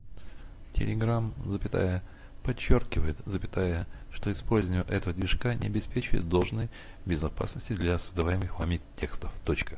телеграм запятая подчёркивает запятая что использование этого движка не обеспечивает должной безопасности для создаваемых вами текстов точка